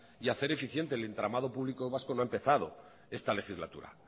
y hacer eficiente el entramado público vasco no lo ha empezado esta legislatura